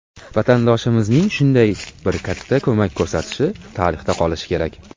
Vatandoshimizning shunday bir katta ko‘mak ko‘rsatishi tarixda qolishi kerak.